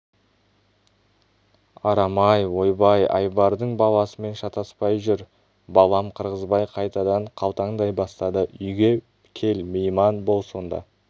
арам-ай ойбай айбардың баласымен шатаспай жүр балам қырғызбай қайтадан қалтаңдай бастады үйге кел мейман бол сонда